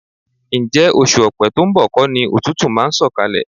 Ǹjẹ́ oṣù Ọ̀pẹ to ń bọ̀ kọ́ ni òtútù máa ń sọ̀kalẹ̀?